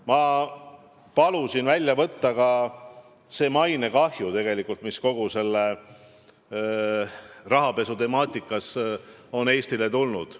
Ma palusin välja selgitada ka mainekahju, mis kogu selle rahapesu temaatikaga seoses on Eestile tekkinud.